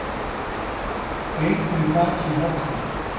Reykur í þaki í Hátúni